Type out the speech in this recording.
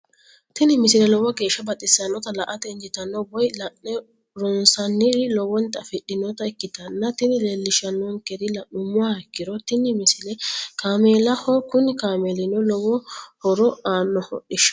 tini misile lowo geeshsha baxissannote la"ate injiitanno woy la'ne ronsannire lowote afidhinota ikkitanna tini leellishshannonkeri la'nummoha ikkiro tini misile kaameelaho kuni kaameelino lowo horo aannoho hodhishshaho.